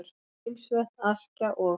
Grímsvötn, Askja og